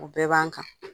O bɛɛ b'an kan